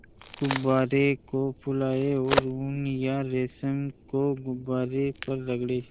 गुब्बारे को फुलाएँ और ऊन या रेशम को गुब्बारे पर रगड़ें